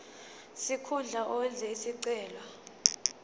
sikhundla owenze isicelo